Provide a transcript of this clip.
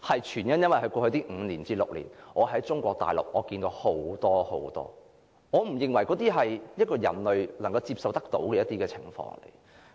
全因在過去5至6年，我在中國大陸看得太多我不認為人類所能接受的情況。